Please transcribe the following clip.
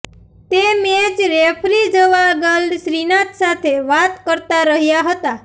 તે match referee Javagal Srinath સાથે વાત કરતા રહ્યાં હતા